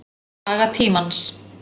Saga tímans.